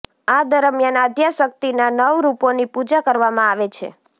આ દરમિયાન આદ્યાશક્તિના નવ રૂપોની પૂજા કરવામાં આવે છે